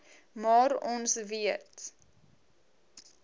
maar ons weet